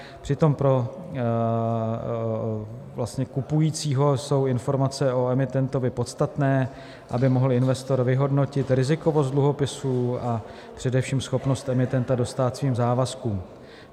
Přitom pro kupujícího jsou informace o emitentovi podstatné, aby mohl investor vyhodnotit rizikovost dluhopisů, a především schopnost emitenta dostát svým závazkům.